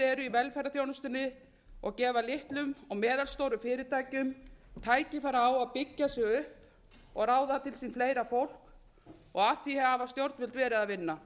eru í velferðarþjónustunni og gefa litlum og meðalstórum fyrirtækjum tækifæri á að byggja sig upp og ráða til sín fleira fólk að því hafa stjórnvöld verið að vinna